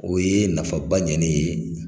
O ye nafaba ɲɛ ne ye.